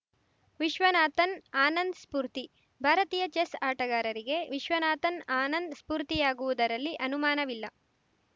ವಿಶ್ವನಾಥನ್‌ ಆನಂದ್‌ ಸ್ಫೂರ್ತಿ ಭಾರತೀಯ ಚೆಸ್‌ ಆಟಗಾರರಿಗೆ ವಿಶ್ವನಾಥನ್‌ ಆನಂದ್‌ ಸ್ಫೂರ್ತಿಯಾಗುವುದರಲ್ಲಿ ಅನುಮಾನವಿಲ್ಲ